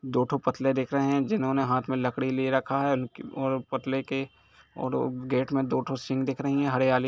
दो ठो पुतले दिख रहे है जिन्होंने हाथ में लकड़ी ले रखा है और पुतले के -- और गेट में दो ठो सींग दिख रही है हरियाली--